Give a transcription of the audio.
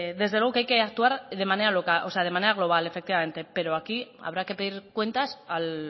desde luego que hay que actuar de manera global pero aquí habrá que pedirle cuentas al